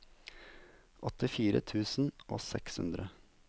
åttifire tusen og seks hundre